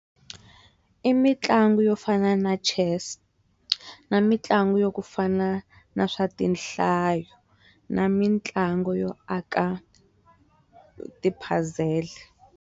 I mitlangu yo fana na Chess na mitlangu yo ku fana na swa tinhlayo, na mitlangu yo aka ti puzzle.